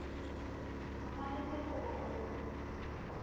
o tshwanetse go bo o